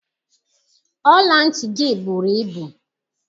Ọla ntị gị bụrụ ịbụ